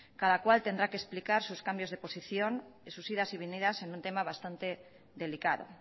cada cual tendrá que explicar sus cambios de posición sus idas y venidas en un tema bastante delicado